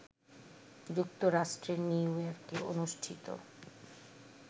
যুক্তরাষ্ট্রের নিউ ইয়র্কে অনুষ্ঠিত